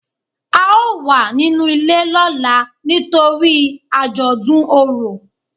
a o wà ninú ilé lọla nítorí ajodùn Orò